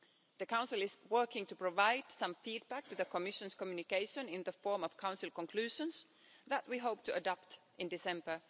The Council is working to provide some feedback to the Commission's communication in the form of Council conclusions that we hope to adopt in December